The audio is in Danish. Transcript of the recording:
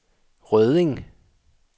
Rødding